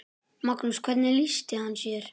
Magnús: Hvernig lýsti hann sér?